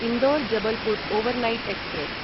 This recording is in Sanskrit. Indore Jabalpur overnight express